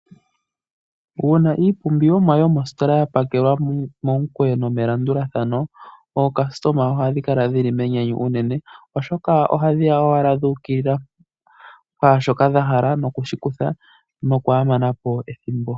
Uuna iilandithomwa yomositola yapakelwa melandulathano momukweyo nawa, aalandi ohaakala yanyanyukwa oshoka oha yayi ashike yuukilila pwaashoka dhahala no kushi kutha nokwaamanapo ethimbo.